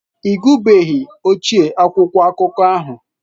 Ị gụbeghi ochie akwụkwọ akụkọ ahụ.